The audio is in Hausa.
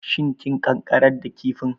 Shin kin ƙanƙarar da kifin?